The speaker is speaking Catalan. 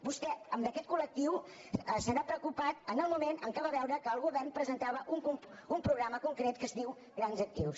vostè d’aquest col·lectiu se n’ha preocupat en el moment en què va veure que el govern presentava un programa concret que es diu grans actius